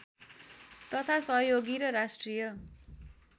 तथा सहयोगी र राष्ट्रिय